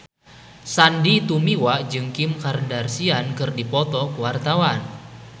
Sandy Tumiwa jeung Kim Kardashian keur dipoto ku wartawan